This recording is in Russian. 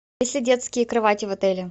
есть ли детские кровати в отеле